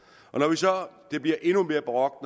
det bliver endnu mere barokt